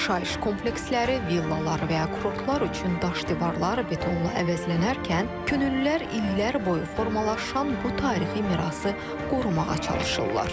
Yaşayış kompleksləri, villalar və ya kurortlar üçün daş divarlar betonla əvəzlənərkən, könüllülər illər boyu formalaşan bu tarixi mirası qorumağa çalışırlar.